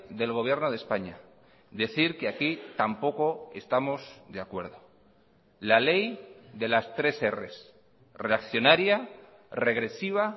del gobierno de españa decir que aquí tampoco estamos de acuerdo la ley de las tres erres reaccionaria regresiva